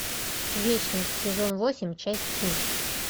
вечность сезон восемь часть три